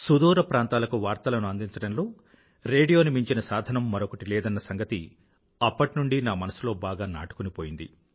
సుదూర ప్రాంతాలకు వార్తలను అందించడంలో రేడియోను మించిన సాధనం మరొకటేదీ లేదన్న సంగతి అప్పటినుండీ నా మనసులో బాగా నాటుకుపోయింది